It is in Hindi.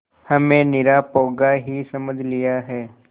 हमें निरा पोंगा ही समझ लिया है